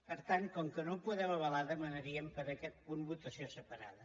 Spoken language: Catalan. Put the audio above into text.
per tant com que no ho podem avalar demanaríem per a aquest punt votació separada